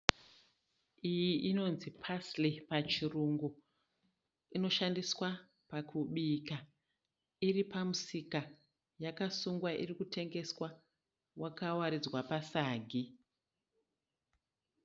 Iyi inonzii parsly pachirungu. Inoshandiswa pakubika. Iri pamusika yakasungwa iri kutengeswa yakawaridzwa pasagi.